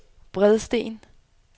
Bredsten